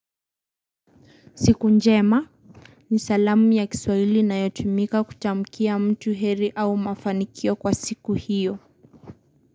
Siku njema ni salamu ya kiswahili inayotumika kutamkia mtu heri au mafanikio kwa siku hiyo.